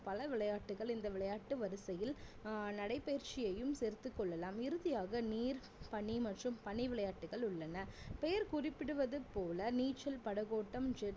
பல விளையாட்டுகள் இந்த விளையாட்டு வரிசையில் ஆஹ் நடைபயிற்சியையும் சேர்த்துக் கொள்ளலாம் இறுதியாக நீர் பனி மற்றும் பனிவிளையாட்டுகள் உள்ளன பெயர் குறிப்பிடுவது போல நீச்சல் படகோட்டம்